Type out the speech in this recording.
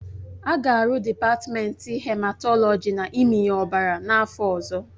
A ga-arụ dịpatmenti hematọlọji na mmịnye ọbara n'afọ ọzọ